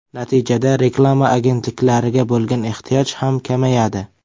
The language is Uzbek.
Natijada reklama agentliklariga bo‘lgan ehtiyoj ham kamayadi.